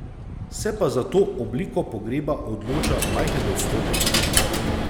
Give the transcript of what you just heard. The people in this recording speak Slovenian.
Se pa za to obliko pogreba odloča majhen odstotek ljudi.